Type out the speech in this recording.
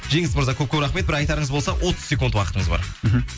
жеңіс мырза көп көп рахмет бір айтарыңыз болса отыз секунд уақытыңыз бар мхм